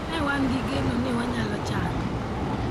Ne wan gi geno ni wanyalo chango.